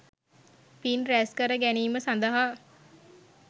පින් රැස්කර ගැනීම සඳහා